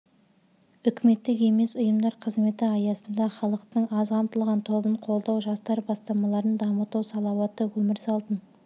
үкіметтік емес ұйымдар қызметі аясында халықтың аз қамтылған тобын қолдау жастар бастамаларын дамыту салауатты өмір салтын